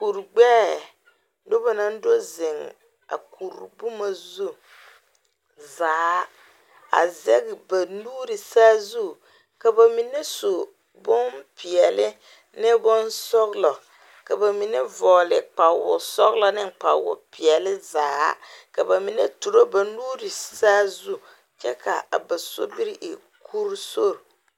Kurigbɛɛ nobɔ naŋ do zeŋ a kuri boma zu zaa a zege ba nuure saazu ka ba mine su bonpeɛle ne bonsɔglɔ ka ba mine vɔɔle kpawosɔglɔ ne a kpawopeɛle zaa ka ba mine turo ba nuure saazu kyɛ ka a ba sobiri e kuri sori.